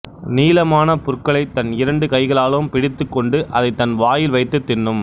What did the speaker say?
நீளமான புற்களைத் தன் இரண்டு கைகளாலும் பிடித்துக் கொண்டு அதைத் தன் வாயில் வைத்துத் தின்னும்